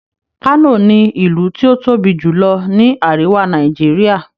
kano ní ilú tí o tóbi jùlọ ní àríwá Nàìjíríà.